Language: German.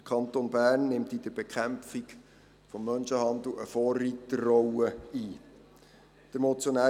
Der Kanton Bern nimmt in der Bekämpfung von Menschenhandel eine Vorreiterrolle ein.